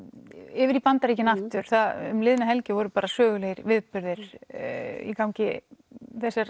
yfir í Bandaríkin aftur um liðna helgi voru sögulegir viðburðir í gangi þessar